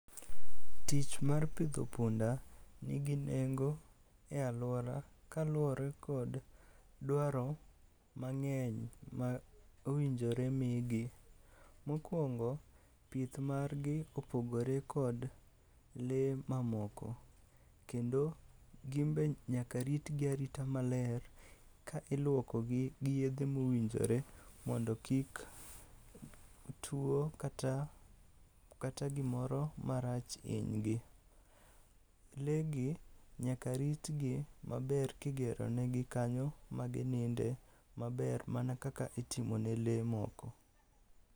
Tich mar pidho punda nigi nengo e alwora kaluwore kod dwaro mang'eny ma owinjore migi. Mokwongo, pith margi opogore kod lee mamoko, kendo ginbe nyaka ritgi arita maler ka ilwokogi gi yedhe mowinjore mondo kik tuo kata gimoro marach hinygi. Lee gi nyaka ritgi maber kigeronegi kanyo magininde maber mana kaka itimone lee moko.